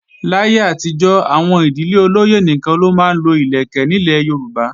Láyé àtijọ́, àwọn ìdílé olóyè nìkan ló máa ń lo ìlẹ̀kẹ̀ nílẹ̀ Yorùbá